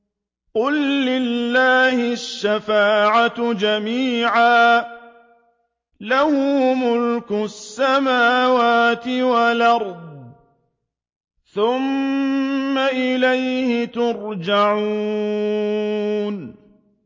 قُل لِّلَّهِ الشَّفَاعَةُ جَمِيعًا ۖ لَّهُ مُلْكُ السَّمَاوَاتِ وَالْأَرْضِ ۖ ثُمَّ إِلَيْهِ تُرْجَعُونَ